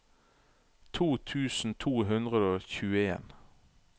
to tusen to hundre og tjueen